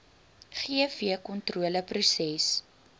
gvkontroleproses